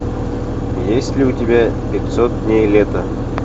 есть ли у тебя пятьсот дней лета